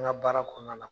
An ka baara kɔnɔna na